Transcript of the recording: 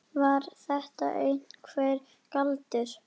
Var þetta einhver galdur?